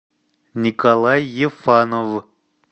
николай ефанов